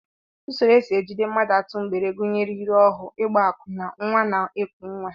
Usoro e si eji mmadụ atụ mgbere gụnyere ire ohu, ịgba akwụna, nnwa na-eku nnwa